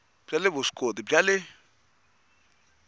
bya le vuswikoti bya le